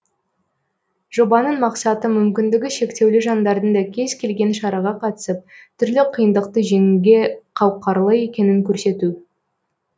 жобаның мақсаты мүмкіндігі шектеулі жандардың да кез келген шараға қатысып түрлі қиындықты жеңуге қауқарлы екенін көрсету